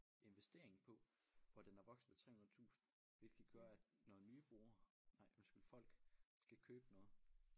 Investering på hvor den er vokset med 300 tusind hvilket gør at når nye brugere nej undskyld folk skal købe den også